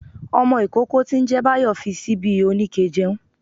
Ọmọ ikókó tí n jẹ báyó fí síbi oníkẹ̀ jẹun